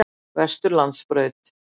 Vesturlandsbraut